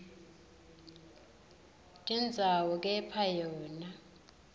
tindzawo kepha yona